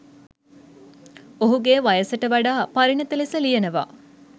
ඔහුගේ වයසට වඩා පරිණත ලෙස ලියනවා.